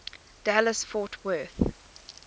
dallas fort worth